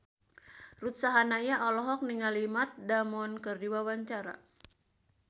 Ruth Sahanaya olohok ningali Matt Damon keur diwawancara